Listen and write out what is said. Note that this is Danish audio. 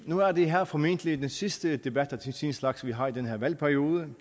nu er det her formentlig den sidste debat af sin slags vi har i den her valgperiode